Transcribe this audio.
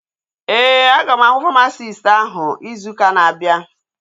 Ee, aga m ahụ famasisti áhụ̀ izu ụka na-abịa